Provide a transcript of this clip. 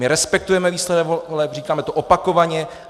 My respektujeme výsledek voleb, říkáme to opakovaně.